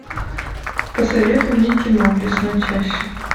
посоветуй мне кино в лесной чаще